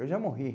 Eu já morri.